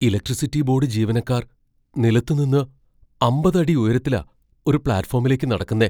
Electricity board ജീവനക്കാർ നിലത്തു നിന്ന് അമ്പത് അടി ഉയരത്തിലാ ഒരു പ്ലാറ്റ്ഫോമിലേക്ക് നടക്കുന്നെ.